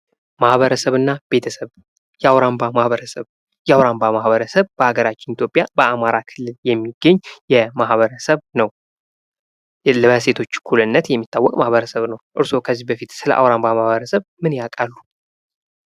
ማህበረሰብና ቤተሰብ የአውራምባ ማህበረሰብ የአውራምባ ማህበረሰብ በሀገራችን በኢትዮጵያ በአማራ ክልል የሚገኝ ማህበረሰብ ነው። በሴቶች እኩልነት የሚታወቅ ማህበረሰብ ነው። እርስዎ ከዚህ በፊት ስለ አውራምባ ማህበረሰብ ምን ያውቃሉ?